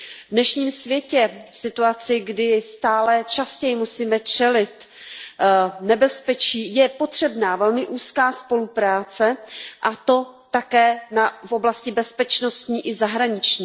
V dnešním světě, v situaci, kdy stále častěji musíme čelit nebezpečí, je potřebná velmi úzká spolupráce, a to také v oblasti bezpečnostní i zahraniční.